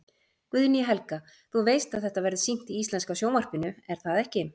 Guðný Helga: Þú veist að þetta verður sýnt í íslenska sjónvarpinu, er það ekki?